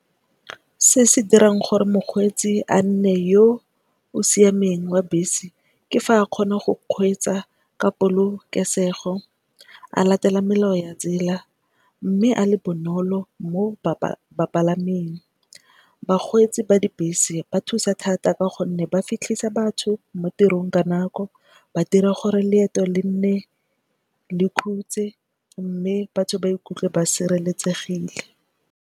Se se dirang gore mokgweetsi a nne yo o siameng wa bese ke fa a kgona go kgweetsa ka polokesego, a latela melao ya tsela mme a le bonolo mo bapalameng. Bakgweetsi ba dibese ba thusa thata ka gonne ba fitlhisa batho mo tirong ka nako ba dira gore leeto le nne le khutse mme batho ba ikutlwe ba sireletsegile.